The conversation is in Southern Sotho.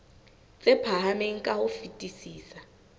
tse phahameng ka ho fetisisa